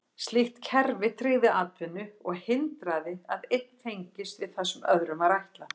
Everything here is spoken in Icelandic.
Slíkt kerfi tryggði atvinnu og hindraði að einn fengist við það sem öðrum var ætlað.